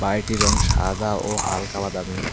বাড়িটির রং সাদা ও হালকা বাদামি।